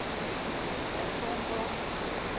atomvåben